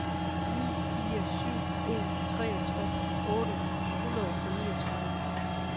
ni fire syv en treogtres otte hundrede og niogtredive